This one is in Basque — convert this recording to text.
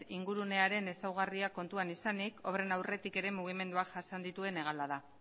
ingurunearen ezaugarriak kontuan izanik obren aurretik ere mugimenduak jasan dituen hegala da